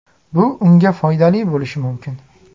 Bu unga foydali bo‘lishi mumkin.